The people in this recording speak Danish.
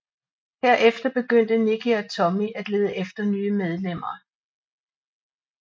Herefter begyndte Nikki og Tommy at lede efter nye medlemmer